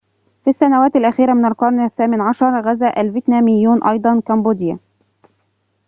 في السنوات الأخيرة من القرن ال18 غزا الفيتناميّون أيضاً كمبوديا